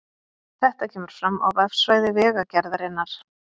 Þetta kemur fram á vefsvæði Vegagerðarinnar